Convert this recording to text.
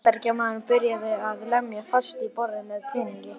Bandaríkjamaðurinn byrjaði að lemja fast í borðið með peningi.